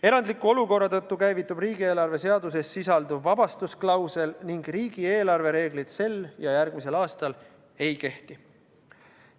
Erandliku olukorra tõttu käivitub riigieelarve seaduses sisalduv vabastusklausel ning riigieelarve reeglid sel ja järgmisel aastal ei kehti.